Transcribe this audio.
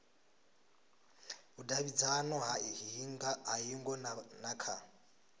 vhudavhidzano ha hingo na kha